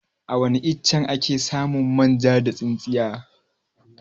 Awani iccen ake samun manja da tsintsiya?